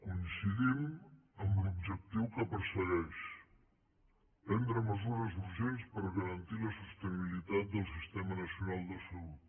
coincidim en l’objectiu que persegueix prendre mesures urgents per garantir la sostenibilitat del sistema nacional de salut